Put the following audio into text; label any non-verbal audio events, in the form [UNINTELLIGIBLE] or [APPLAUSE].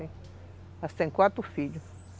[UNINTELLIGIBLE] quatro filhos.